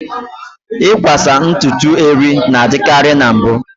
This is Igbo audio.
Ịkwasa ntutu eri na-adịkarị na mbụ.